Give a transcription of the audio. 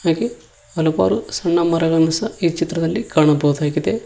ಹಾಗೆ ಹಲವಾರು ಸಣ್ಣ ಮರಗಳನ್ನು ಸ ಈ ಚಿತ್ರದಲ್ಲಿ ಕಾಣಬಹುದಾಗಿದೆ.